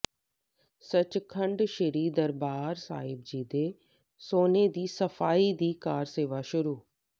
ਸੱਚਖੰਡ ਸ਼੍ਰੀ ਦਰਬਾਰ ਸਾਹਿਬ ਦੇ ਸੋਨੇ ਦੀ ਸਫ਼ਾਈ ਦੀ ਕਾਰਸੇਵਾ ਸ਼ੁਰੂ